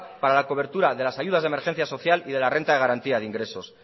para la cobertura de las ayudas de emergencia social y de la renta de garantía de ingresos